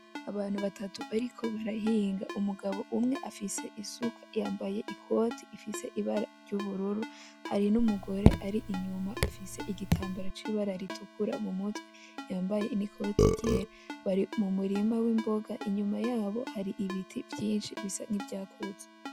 Abantu batatu bariko barahinga ,umugabo umwe afise isuka yambaye ikoti ifise ibara ry'ubururu hari n'umugore ar'inyuma afise igitambara c'ibara ritukura mumutwe yambaye n'ikoti ryera ,bari mumurima w'imboga inyuma yabo hari ibiti vyinshi, bisa nk'ivyakuze.